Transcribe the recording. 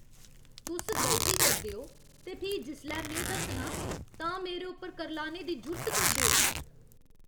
तुस गलती करदे ओ ते फ्ही जिसलै में दस्सनां तां मेरे उप्पर करलाने दी जुर्त करदे ओ।